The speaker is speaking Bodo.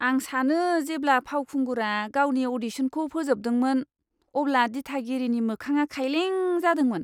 आं सानो जेब्ला फावखुंगुरा गावनि अ'डिशनखौ फोजोबदोंमोन, अब्ला दिथागिरिनि मोखाङा खायलें जादोंमोन!